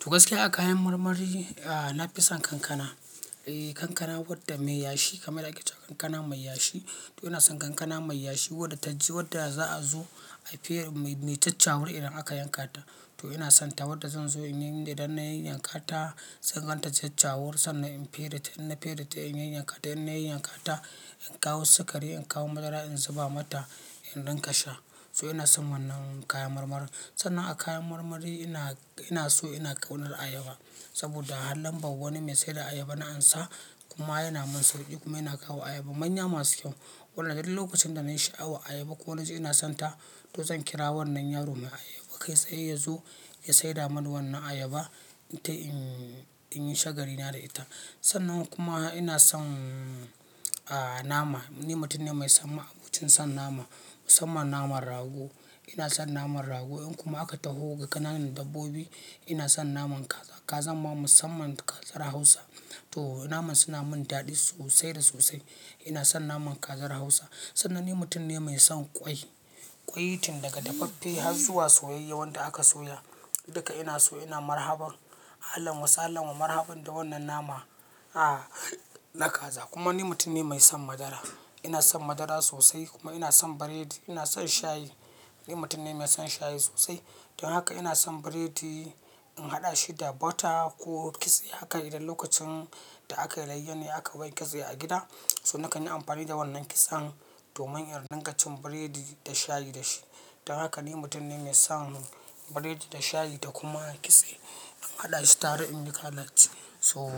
To gaskiya a kayan marmari, ah na fi son kankana. Eh kankana wadda mai yashi kamar yanda ake cewa kankana mai yashi. To ina son kankana mai yashi wadda ta ji wadda za a zo a fere mai, mai caccawur idan aka yanka ta. To ina son ta wadda zan zo in yi, idan na yi yanka ta, zan gan ta ta caccawur sannan in fere ta, idan na fere ta in yi yanka ta, idan na yi yanka ta, in kawo sikari, in kawo madara in zuba mata in dinga sha. So ina son wannan kayan marmari. Sannan a kayan marmari ina, ina so ina ƙaunar ayaba saboda a halin babba wani mai saida ayaba na ansa kuma yana mun sauki kuma yana kawo ayaba manya masu kyau. Wannan dai duk lokacin da na sha'awa ayaba ko wani ji ina son ta to zan kira wannan yaron mai ayaba kai sai ya zo ya saida mani wannan ayaba ita in, in yi shagali na da ita. Sannan kuma ina son ah nama. Ni mutum ne mai samma abincin son nama musamman naman rago. Ina son naman rago in kuma aka taho ga ƙananan dabbobi ina son naman kaza. Kazan ma musamman ta kazar Hausa. To naman suna mun daɗi sosai da sosai. Ina son naman kazar Hausa. Sannan ni mutum ne mai son ƙwai. Ƙwai tun daga dafaffe har zuwa soyayyen wanda aka soya duka ina so ina marhabar. Ahlan wa sahalan wa marhabar da wannan nama a na kaza. Kuma ni mutum ne mai son madara. Ina son madara sosai kuma ina son biredi. Ina son shayi. Ni mutum ne mai son shayi sosai. Don haka ina son biredi in haɗa shi da butter ko kitse haka idan lokacin da aka layyane aka bai kitse a gida. So nakan yi amfani da wannan kitsen domin in dinga cin biredi da shayi da shi. Don haka ni mutum ne mai son biredi da shayi da kuma kitse in haɗa shi tare in yi kalaci. So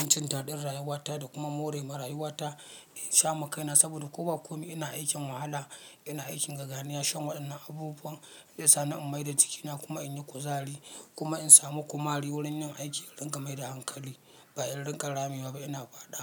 abincin daɗin rayuwata da kuma more ma rayuwata in sha ma kaina saboda ko ba ko ina aikin wahala ina aikin gaganiyar shan waɗannan abubuwan zai sa ni in maida jikina kuma in yi kuzari kuma in samu kumari wurin yin aiki in dinga maida hankali. Ba in dinga ramewa ba ina faɗa.